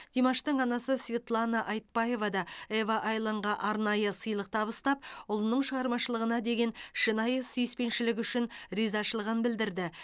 димаштың анасы светлана айтбаева да ева айланға арнайы сыйлық табыстап ұлының шығармашылығына деген шынайы сүйіспеншілігі үшін ризашылығын білдірді